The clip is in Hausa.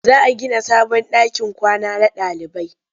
Za a gina sabon ɗakin kwana na ɗalibai.